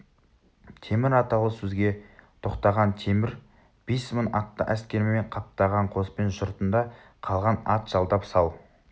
темір аталы сөзге тоқтаған темір бес мың атты әскермен қаптаған қоспен жұртында қалған ат жалдап сал